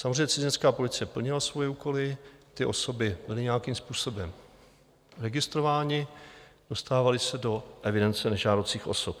Samozřejmě cizinecká policie plnila svoje úkoly, ty osoby byly nějakým způsobem registrovány, dostávaly se do evidence nežádoucích osob.